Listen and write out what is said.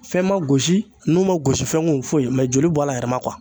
Fɛn man gosi nu man gosi fɛn kun foyi joli bɔr'a yɛrɛ ma